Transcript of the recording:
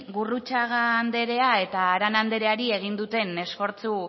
gurrutxaga anderea eta arana andereari egin duten esfortzu